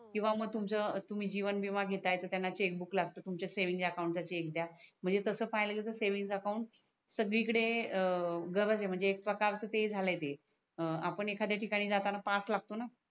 किवा मग तुमच तुम्ही जीवन विमा घेत आहे तर त्यांना चेक बुक लागतो तुमच्या सेव्हिंग अकाउंटचा चेक दया म्हणजे तस पाहिल तर सेव्हिंग अकाउंट सगडी कडे गरज आहे म्हणजे एक प्रकारच ते झाल आहे ते आपण एखदय ठिकाणी जाताणी पाहाच लागतो णा